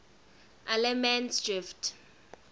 allemansdrift